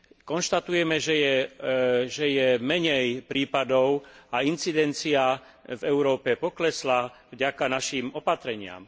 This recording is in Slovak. Konštatujeme, že je menej prípadov a incidencia v Európe poklesla vďaka našim opatreniam.